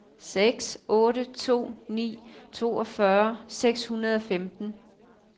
seks otte to ni toogfyrre seks hundrede og femten